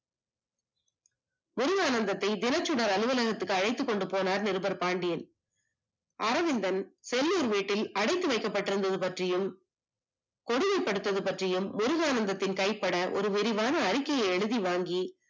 முருகானந்தத்தை தினச்சுடர் அனுவலகத்துக்கு அழைத்துக்கொண்டு போனார் நிருபர் பாண்டியன். அரவிந்தன் செல்லூர் வீட்டில் அடைத்து வைக்கப்பட்டிருந்து பற்றியும், கொடுமை படுத்தியது பற்றியும் முருகானந்தத்தின் கைபட ஒரு விரிவான அறிக்கையை எழுதிவாங்கி